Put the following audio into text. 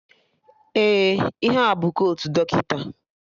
Ee, ihe a bụ kotu dọkịta